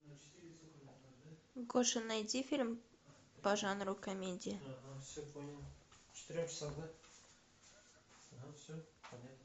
гоша найди фильм по жанру комедия